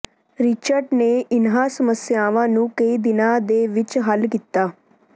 Richard ਨੇ ਇਨ੍ਹਾਂ ਸਮੱਸਿਆਵਾਂ ਨੂੰ ਕਈ ਦਿਨਾਂ ਦੇ ਵਿੱਚ ਹੱਲ ਕੀਤਾ